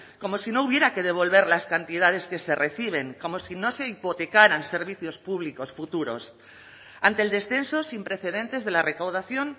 como si no hubiera que devolver las cantidades que se reciben como si no se hipotecaran servicios públicos futuros ante el descenso sin precedentes de la recaudación